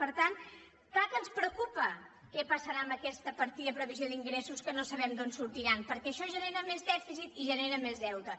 per tant clar que ens preocupa què passarà amb aquesta partida de previsió d’ingressos que no sabem d’on sortiran perquè això genera més dèficit i genera més deute